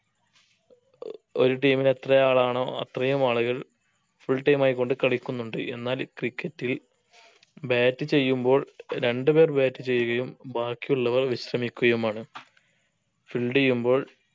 ഒരു team ന് എത്രയാളാണോ അത്രയും ആളുകൾ full time ആയിക്കൊണ്ട് കളിക്കുന്നുണ്ട് എന്നാൽ cricket ൽ bat ചെയ്യുമ്പോൾ രണ്ട് പേർ bat ചെയ്യുകയും ബാക്കിയുള്ളവർ വിശ്രമിക്കുകയുമാണ് field ചെയ്യുമ്പോൾ